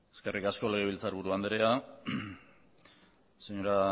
eskerrik asko legebiltzairburu andereak señora